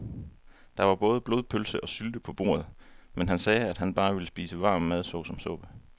Der var både blodpølse og sylte på bordet, men han sagde, at han bare ville spise varm mad såsom suppe.